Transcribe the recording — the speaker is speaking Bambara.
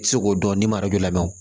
Se k'o dɔn ni lamɛn